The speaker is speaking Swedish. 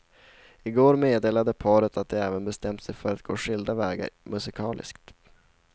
I går meddelade paret att de även bestämt sig för att gå skilda vägar musikaliskt.